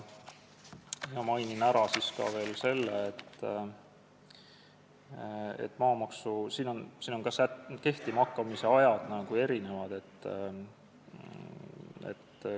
Mainin ära veel selle, et ka kehtima hakkamise tähtajad on erinevad.